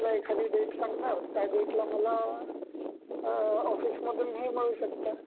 मग मला एखादी डेट सांगणार त्या डेटला मला ऑफीसमधून मला हे मिळू शकत, ऑफीसमधून